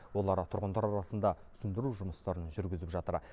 олар тұрғындар арасында түсіндіру жұмыстарын жүргізіп жатыр